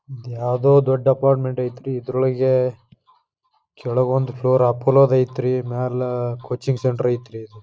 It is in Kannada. ಯಾವುದೊ ಒಂದು ದೊಡ್ಡ ಅಪಾರ್ಟ್ಮೆಂಟ್ ಐತೆ ರೀ ಇದ್ರೊಳಗೆ ಕೆಳಗ್ವೊಂದು ಫ್ಲೋರ್ ಅಪಪೋಲೋದ್ ಐತ ಮ್ಯಾಲ್ ಕೋಚಿಂಗ್ ಸೆಂಟರ್ ಐತ್ರಿ ಇದ.